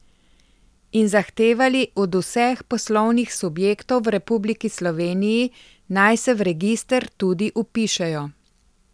In zahtevali od vseh poslovnih subjektov v republiki Sloveniji, naj se v register tudi vpišejo.